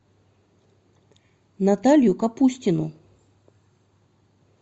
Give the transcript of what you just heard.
наталью капустину